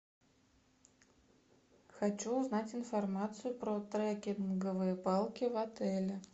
хочу узнать информацию про треккинговые палки в отеле